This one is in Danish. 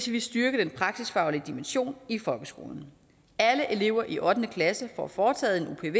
vil styrke den praksisfaglige dimension i folkeskolen alle elever i ottende klasse får foretaget en